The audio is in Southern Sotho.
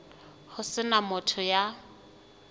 ho se na motho ya